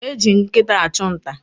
Eji nkịta achụ nta.